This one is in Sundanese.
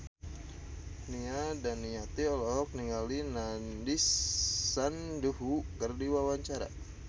Nia Daniati olohok ningali Nandish Sandhu keur diwawancara